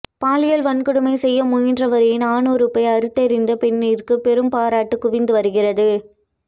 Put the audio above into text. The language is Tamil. பாலியல் வன்கொடுமை செய்ய முயன்றவரின் ஆணுறுப்பை அறுத்தெறிந்த பெண்ணிற்கு பெரும் பாராட்டு குவிந்து வருகிறது